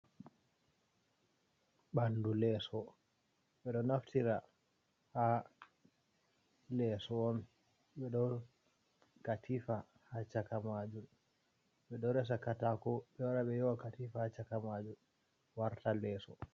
Bandu leso ɓedo naftira ha leso on, ɓedo katifa ha chakamajum ɓedo resa kataku bewara be yewa katifa ha chakamajun warta leso.